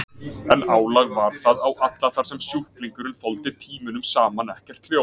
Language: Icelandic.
En álag var það á alla þar sem sjúklingurinn þoldi tímunum saman ekkert hljóð.